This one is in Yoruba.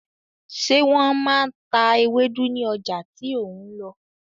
Ṣé wọ́n máa ta ewédú ní ọjà tíó n lọ?